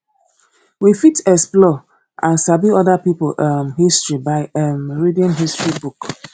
we fit explore and sabi oda pipo um history by um reading history book